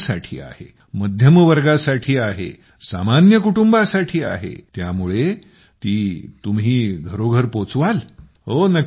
गरीबांसाठी आहे मध्यमवर्गासाठी आहे सामान्य कुटुंबासाठी आहे त्यामुळे ती घरोघरी तुम्ही पोहचवाल